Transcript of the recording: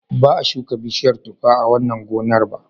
Ba a shuka bishiyar tuffa a wannan gonar ba.